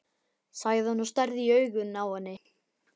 sagði hann og starði í augun á henni.